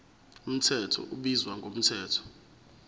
mthetho ubizwa ngomthetho